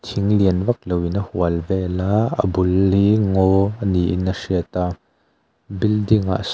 thing lian vak loin a hual vel a a bul hi ngaw a niin a hriat a building ah sawn --